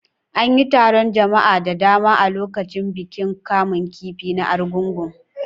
An yi taron jama'a da dama a lokacin bukin kamun kifi na Argungun.